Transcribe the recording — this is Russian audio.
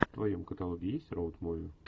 в твоем каталоге есть роуд муви